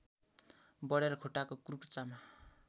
बढेर खुट्टाको कुर्कुच्चामा